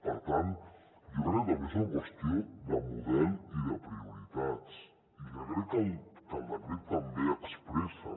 per tant jo crec també és una qüestió de model i de prioritats i que crec que el decret també expressa